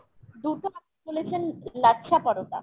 দুটো আপনারা বলেছেন লাচ্ছা পরোটা।